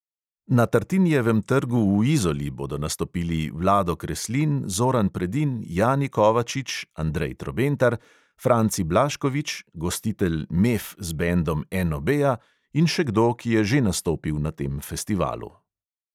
Na tartinijevem trgu v izoli bodo nastopili vlado kreslin, zoran predin, jani kovačič, andrej trobentar, franci blaškovič, gostitelj mef z bendom NOB-ja in še kdo, ki je že nastopil na tem festivalu.